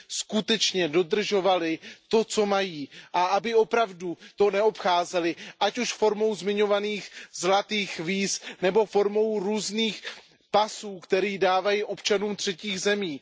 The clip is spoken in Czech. skutečně dodržovaly to, co mají, a aby to opravdu neobcházely, ať už formou zmiňovaných zlatých víz nebo formou různých pasů, které dávají občanům třetích zemí.